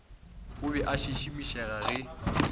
o be a šišimišega ge